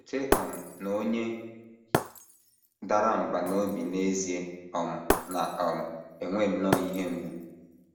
Cheta um na onye dara mbà n’obi n’ezie um na um - enwe nnọọ ihe mgbu.